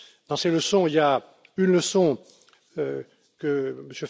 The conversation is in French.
Dans ces leçons, il y a une leçon